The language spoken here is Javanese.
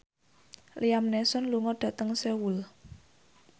Liam Neeson lunga dhateng Seoul